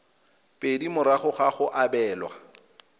pedi morago ga go abelwa